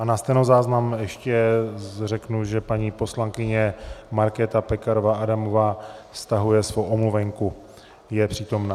A na stenozáznam ještě řeknu, že paní poslankyně Markéta Pekarová Adamová stahuje svoji omluvenku, je přítomna.